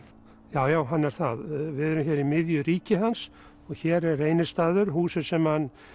já já hann er það við erum hér í miðju ríki hans og hér er Reynistaður húsið sem hann